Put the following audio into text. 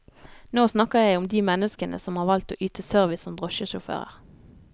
Nå snakker jeg om de menneskene som har valgt å yte service som drosjesjåfører.